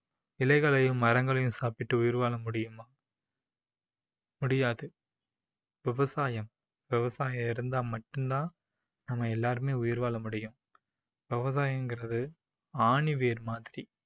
இலைகளையும் மரங்களையும் சாப்பிட்டு உயிர் வாழ முடியுமா முடியாது. விவசாயம் விவசாயம் இருந்தா மட்டும் தான் நம்ம எல்லாருமே உயிர் வாழ முடியும். விவசாயங்குறது ஆணி வேர் மாதிரி